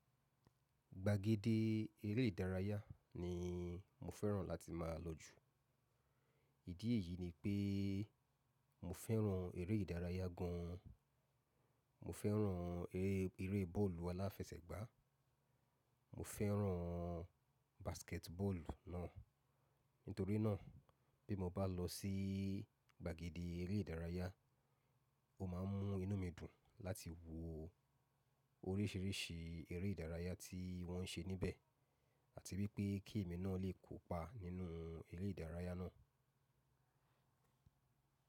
Gbàgede eré ìdárayá ni mo fẹ́ràn láti máa lọ jù. Ìdí èyí ni pé mo fẹ́ràn eré ìdárayá gan. Mo fẹ́ràn eré, eré bọ́ọ̀lù aláfẹsẹ̀gbá, mo fẹ́ràn basketball náà. Nítorí náà, bí mo bá lọ sí gbàgede eré ìdárayá, o máa mú inú mi dùn láti wo oríṣìíríṣìí eré ìdárayá tí wọ́n ń ṣe níbẹ̀ àti wipé kí mi náà lè kópa nínú eré ìdárayá náà.